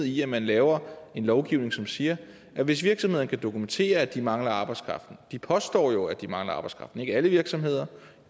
i at man laver en lovgivning som siger at hvis virksomhederne kan dokumentere at de mangler arbejdskraft de påstår jo at de mangler arbejdskraft ikke alle virksomheder